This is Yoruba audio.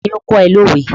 Ta ni ó kọ́ ẹ lówe?